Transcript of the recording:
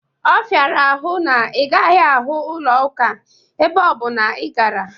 Ọ fịara ahụ na ị gaghị ahụ ụlọ ụka ebe ọbụna ị gara